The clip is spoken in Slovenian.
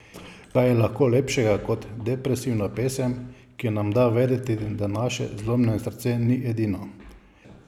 Kaj je lahko lepšega kot depresivna pesem, ki nam da vedeti, da naše zlomljeno srce ni edino?